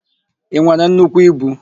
I nwere nnukwu ibu?